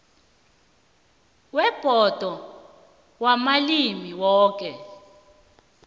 webhodo yamalimi woke